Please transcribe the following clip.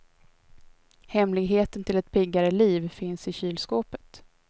Hemligheten till ett piggare liv finns i kylskåpet.